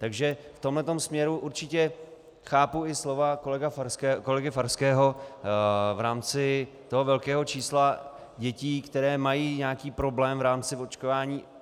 Takže v tomhle směru určitě chápu i slova kolegy Farského v rámci toho velkého čísla dětí, které mají nějaký problém v rámci očkování.